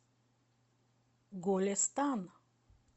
голестан